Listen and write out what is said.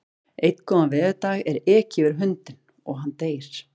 Einn góðan veðurdag er ekið yfir hundinn og hann deyr.